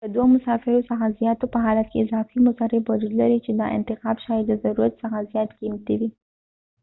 د دوه مسافرو څخه زیاتو په حالت کې اضافي مصرف وجود لري چې دا انتخاب شاید د ضرورت څخه زیات قیمتي وي